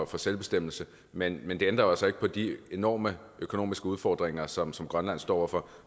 for selvbestemmelse men men det ændrer jo altså ikke på de enorme økonomiske udfordringer som som grønland står over for